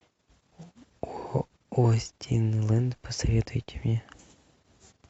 остинленд посоветуйте мне